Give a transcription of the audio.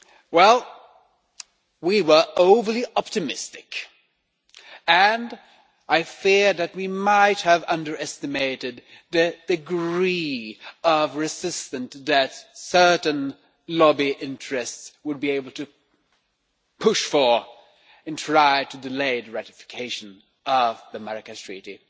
Well, we were overly optimistic and I fear that we might have underestimated the degree of resistance that certain lobby interests would be able to push for and try to delay the ratification of the Marrakech Treaty.